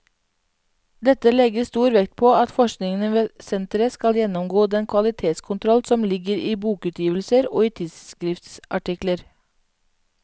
Dette legges stor vekt på at forskningen ved senteret skal gjennomgå den kvalitetskontroll som ligger i bokutgivelser og i tidsskriftsartikler.